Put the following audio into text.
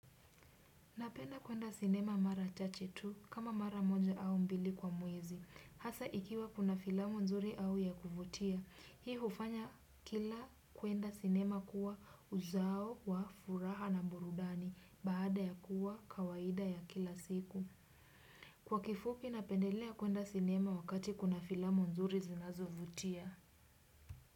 Napenda kuenda sinema mara chache tu kama mara moja au mbili kwa mwezi hasa ikiwa kuna filamu nzuri au ya kuvutia. Hii hufanya kila kuenda sinema kuwa uzao wa furaha na burudani baada ya kuwa kawaida ya kila siku. Kwa kifupi napendelea kuenda sinema wakati kuna filamu nzuri zinazovutia.